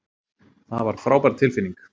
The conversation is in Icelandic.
Það var frábær tilfinning.